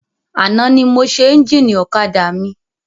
Àná ni mo ṣe ẹ́njìnì ọ̀kadà mi.